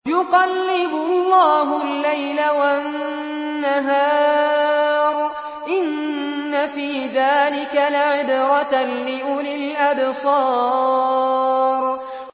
يُقَلِّبُ اللَّهُ اللَّيْلَ وَالنَّهَارَ ۚ إِنَّ فِي ذَٰلِكَ لَعِبْرَةً لِّأُولِي الْأَبْصَارِ